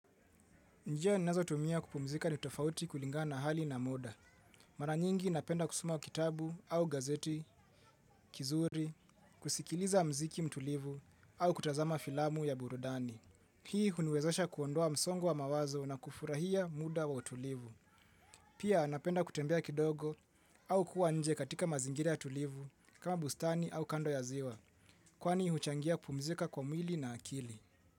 Njia nazo tumia kupumzika ni tofauti kulingana na hali na muda. Mara nyingi napenda kusoma kitabu au gazeti, kizuri, kusikiliza mziki mtulivu au kutazama filamu ya burudani. Hii huniwezesha kuondoa msongo wa mawazo na kufurahia muda wa utulivu. Pia napenda kutembea kidogo au kuwa nje katika mazingira ya tulivu kama bustani au kando ya ziwa. Kwani huchangia kupumzika kwa mwili na akili.